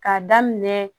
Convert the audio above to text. K'a daminɛ